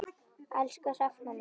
Elsku Hrefna mín.